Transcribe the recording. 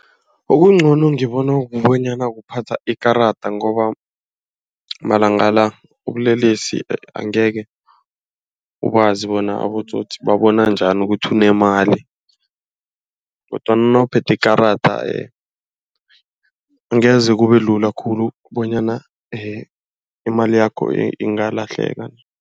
Ubuncono ngibona kubanyana ukuphatha ikarada, ngoba malanga la ubulelesi angeke ukwazi bona abotsotsi babona njani ukuthi unemali, kodwana nawuphethwe ikarada angeze kubelula khulu bonyana imali yakho ingalahleka.